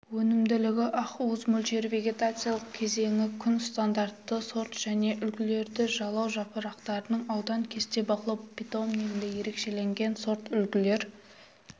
өнімділігі ақуыз мөлшері вегетациялық кезеңі күн стандартты сорт және үлгілер жалау жапырақтарының ауданы кесте бақылау питомнигіндегі ерекшеленген сортүлгілер